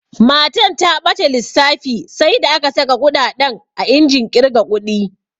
Matan ta ɓata lissafi sai da aka saƙa kuɗaɗen a injin ƙirga ƙudi.